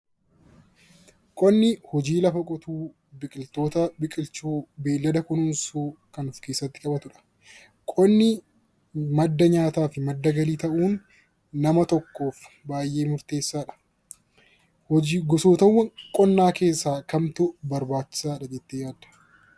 qonni hojii lafa qotuu biqiloota biqilchuu beeylada kunuunsuu kan of keessatti qabatudha. Qonni madda nyaataa fi madda galii ta'uun nama tokkoof baay'ee murteessaadha. Gosoota qonnaa keessaa kamtu barbaachisaadha jettee yaaddaa?